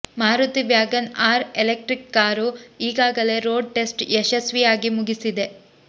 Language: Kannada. ಮಾರುತಿ ವ್ಯಾಗನ್ಆರ್ ಎಲೆಕ್ಟ್ರಿಕ್ ಕಾರು ಈಗಾಗಲೇ ರೋಡ್ ಟೆಸ್ಟ್ ಯಶಸ್ವಿಯಾಗಿ ಮುಗಿಸಿದೆ